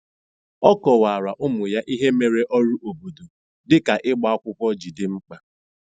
Ọ kọwara ụmụ ya ihe mere ọrụ obodo dị ka ịgba akwụkwọ ji dị mkpa.